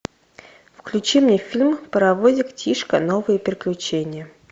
включи мне фильм паровозик тишка новые приключения